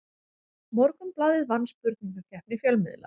Morgunblaðið vann spurningakeppni fjölmiðla